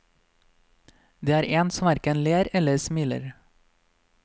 Det er en som hverken ler eller smiler.